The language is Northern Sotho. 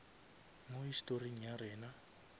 mo historing ya rena